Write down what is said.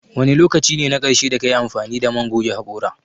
Wane lokaci ne na ƙarshe da kayi amfani da man goge haƙora?